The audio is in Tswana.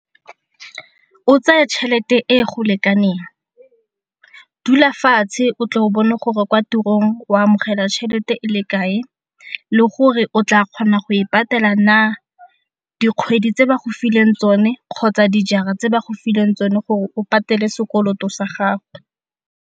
O tseye tšhelete e go lekaneng, dula fatshe o tle o bone gore kwa tirong o amogela tšhelete e le kae le gore o tla kgona go e patela na dikgwedi tse ba go fileng tsone kgotsa dijara tse ba go fileng tsone gore o patele sekoloto sa gago.